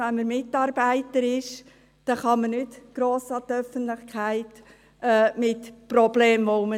Wenn man Mitarbeiter ist, kann man mit vorhandenen Problemen nicht gross an die Öffentlichkeit gelangen.